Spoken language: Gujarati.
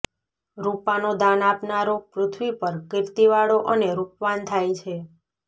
રૂપાનો દાન આપનારો પૃથ્વી પર કીર્તિવાળો અને રૂપવાન થાય છે